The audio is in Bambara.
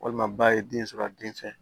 Walima ba ye den sɔrɔ a den fɛ